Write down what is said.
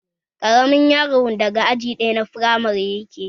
Ƙaramin yaron daga aji ɗaya na firamare yake